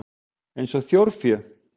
Eins og þjórfé?